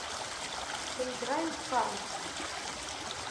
поиграем в карлсон